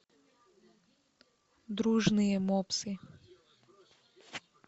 дружные мопсы